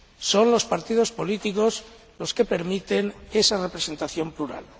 Son los partidos políticos los que permiten esa representación plural.